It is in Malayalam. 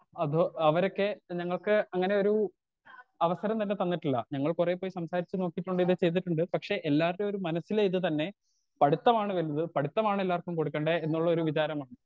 സ്പീക്കർ 2 അത് അവരൊക്കെ ഞങ്ങക്ക് അങ്ങനൊരു അവസരം തന്നെ തന്നിട്ടില്ല ഞങ്ങൾ കൊറേ പോയി സംസാരിച്ച് നോക്കീട്ടുണ്ട് ഇത് ചെയ്തിട്ടുണ്ട് പക്ഷെ എല്ലാർടെ ഒരു മനസ്സിലെ ഇത് തന്നെ പഠിത്തമാണ് വലുത് പഠിത്തമാണ് എല്ലാർക്കും കൊടുക്കണ്ടേ എന്നുള്ളൊരു വിചാരം വന്നു.